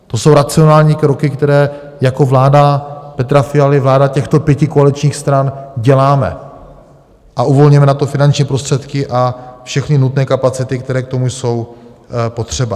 To jsou racionální kroky, které jako vláda Petra Fialy, vláda těchto pěti koaličních stran děláme, a uvolňujeme na to finanční prostředky a všechny nutné kapacity, které k tomu jsou potřeba.